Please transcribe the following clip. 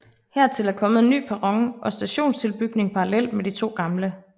Hertil er kommet en ny perron og stationstilbygning parallelt med de to gamle